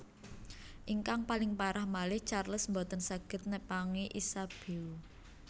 Ingkang paling parah malih Charles boten saged nepangi Isabeau